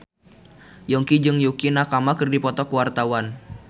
Yongki jeung Yukie Nakama keur dipoto ku wartawan